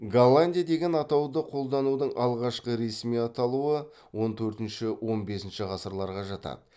голландия деген атауды қолданудың алғашқы ресми аталуы он төртінші он бесінші ғасырларға жатады